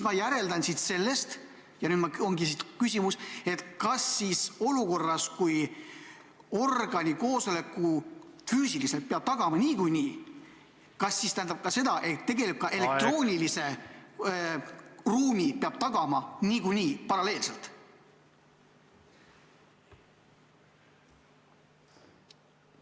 Ma järeldan sellest – ja selles ongi küsimus –, et olukorras, kui organi füüsilise koosoleku peab tagama niikuinii, peab ka elektroonilise ruumi tagama niikuinii, paralleelselt.